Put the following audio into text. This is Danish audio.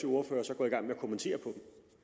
ordfører så går i gang kommentere dem